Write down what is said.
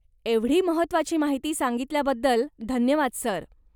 एवढी महत्वाची माहिती सांगितल्याबद्दल धन्यवाद, सर.